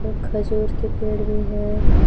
खजूर के पेड़ भी है।